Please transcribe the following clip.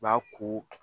B'a ko